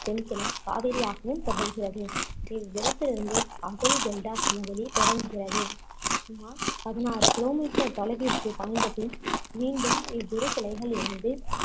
தென்கிளை காவேரியாகவும் தொடர்கிறது இவ்விடத்திலிருந்து காவிரி டெல்டா சமவெளி தொடங்குகிறது சுமார் பதினாறு kilometer தொலைவிற்கு பாய்ந்த பின் மீண்டும் இவ்விருகிளைகள் இணைந்து